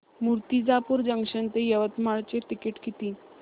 Murtijapur junction ते यवतमाळ चे ticket किती